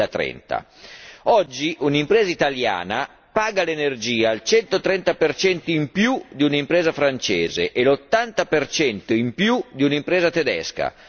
2030. Oggi un'impresa italiana paga l'energia il 130 in più di un'impresa francese e l'80 in più di un'impresa tedesca.